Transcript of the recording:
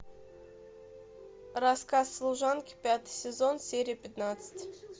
рассказ служанки пятый сезон серия пятнадцать